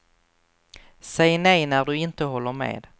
Säg nej när du inte håller med.